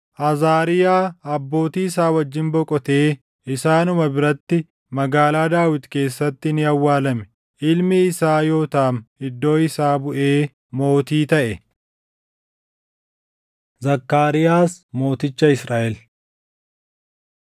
Azaariyaa abbootii isaa wajjin boqotee isaanuma biratti Magaalaa Daawit keessatti ni awwaalame. Ilmi isaa Yootaam iddoo isaa buʼee mootii taʼe. Zakkaariyaas Mooticha Israaʼel